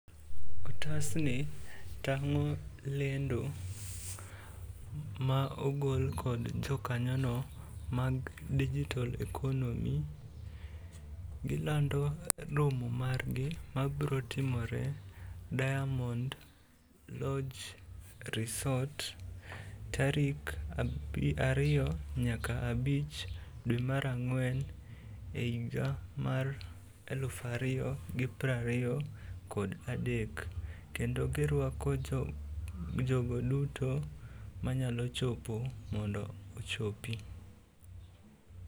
Otasni tang'o lendo ma ogol kod jokanyono mag Digital economy. Gilando romo margi mabro timore Diamond lodge resort tarik ariyo nyaka abich dwe mar ang'wen e higa mar eluf ariyo gi prariyo kod adek kendo girwako jogo duto manyalo chopo mondo ochopi.